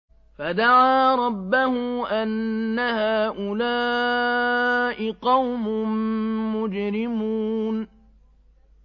فَدَعَا رَبَّهُ أَنَّ هَٰؤُلَاءِ قَوْمٌ مُّجْرِمُونَ